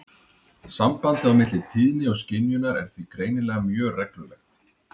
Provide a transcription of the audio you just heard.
Sambandið á milli tíðni og skynjunar er því greinilega mjög reglulegt.